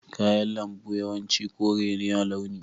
Kayan lambu yawanci kore ne a launi.